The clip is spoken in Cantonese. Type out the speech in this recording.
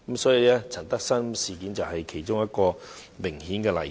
林德深事件就是一個明顯例子。